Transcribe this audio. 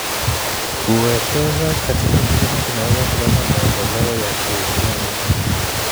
Kuwekeza katika kilimo kunaweza kuleta maendeleo ya kiuchumi.